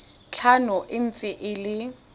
tlhano e ntse e le